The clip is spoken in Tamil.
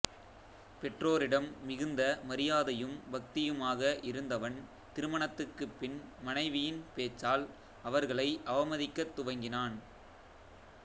பெற்றோரிடம் மிகுந்த மரியாதையும் பக்தியுமாக இருந்தவன் திருமணத்துக்குப் பின் மனைவியின் பேச்சால் அவர்களை அவமதிக்கத் துவங்கினான்